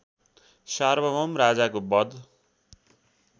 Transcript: सार्वभौम राजाको वध